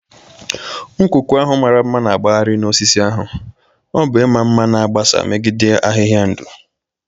Nkụku ahụ mara mma na-akpagharị na osisi ahu,o bu ima nma na agbasa megide ahịhịa ndụ.